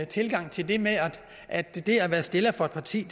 tilgang til det med at det at være stiller for et parti